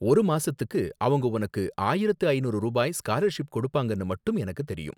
ஒரு மாசத்துக்கு அவங்க உனக்கு ஆயிரத்து ஐநூறு ரூபாய் ஸ்காலர்ஷிப் கொடுப்பாங்கனு மட்டும் எனக்கு தெரியும்.